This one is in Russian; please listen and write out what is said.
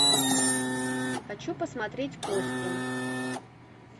хочу посмотреть кости